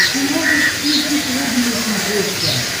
ты можешь включить рубль на смотрешке